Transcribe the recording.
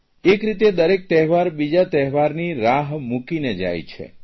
એક રીતે દરેક તહેવાર બીજા તહેવારની રાહ મૂકીને જાય છે